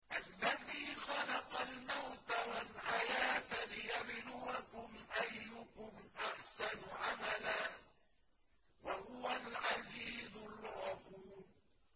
الَّذِي خَلَقَ الْمَوْتَ وَالْحَيَاةَ لِيَبْلُوَكُمْ أَيُّكُمْ أَحْسَنُ عَمَلًا ۚ وَهُوَ الْعَزِيزُ الْغَفُورُ